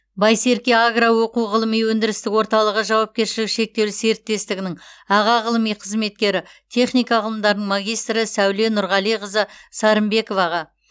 байсерке агро оқу ғылыми өндірістік орталығы жауапкершілігі шектеулі серіктестігінің аға ғылыми қызметкері техника ғылымдарының магистрі сәуле нұрғалиқызы сарымбековаға